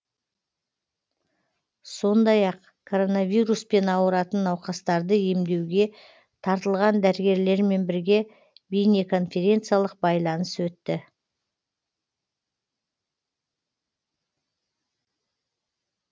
сондай ақ коронавируспен ауыратын науқастарды емдеуге тартылған дәрігерлермен бірге бейнеконференциялық байланыс өтті